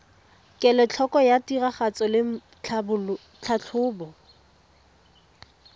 kelotlhoko ya tiragatso le tlhatlhobo